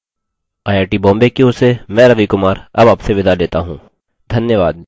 I I T Bombay की ओर से मैं रवि कुमार अब आपसे विदा लेता हूँ धन्यवाद